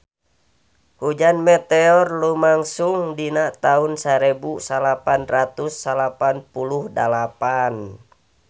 Hujan meteor lumangsung dina taun sarebu salapan ratus salapan puluh dalapan